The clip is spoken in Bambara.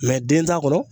den t'a kɔnɔ